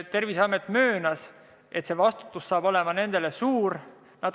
Terviseamet möönis, et nende vastutus saab olema suur.